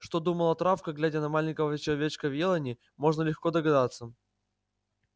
что думала травка глядя на маленького человечка в елани можно легко догадаться